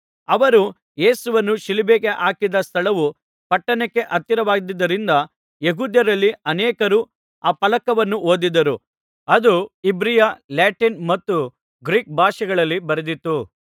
ಅವರು ಯೇಸುವನ್ನು ಶಿಲುಬೆಗೆ ಹಾಕಿದ ಸ್ಥಳವು ಪಟ್ಟಣಕ್ಕೆ ಹತ್ತಿರವಾಗಿದ್ದುದರಿಂದ ಯೆಹೂದ್ಯರಲ್ಲಿ ಅನೇಕರು ಆ ಫಲಕವನ್ನು ಓದಿದರು ಅದು ಇಬ್ರಿಯ ಲ್ಯಾಟಿನ್ ಮತ್ತು ಗ್ರೀಕ್ ಭಾಷೆಗಳಲ್ಲಿ ಬರೆದಿತ್ತು